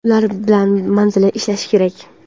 ular bilan manzilli ishlashi kerak.